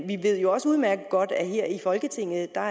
vi ved også udmærket godt at her i folketinget er